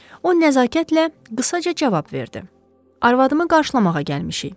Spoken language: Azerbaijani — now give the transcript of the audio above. O nəzakətlə qısaca cavab verdi: "Arvadımı qarşılamağa gəlmişik."